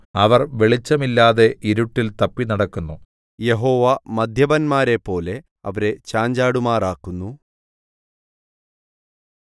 അവർ വെളിച്ചമില്ലാതെ ഇരുട്ടിൽ തപ്പിനടക്കുന്നു യഹോവ മദ്യപന്മാരെപ്പോലെ അവരെ ചാഞ്ചാടുമാറാക്കുന്നു